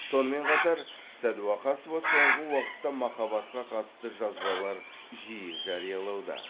сонымен қатар сәдуақасова соңғы уақытта махаббатқа қатысты жазбалар жиі жариялауда